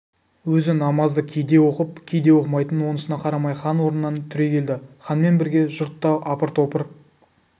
өзі намазды кейде оқып кейде оқымайтын онысына қарамай хан орнынан түрегелді ханмен бірге жұрт та апыр-топыр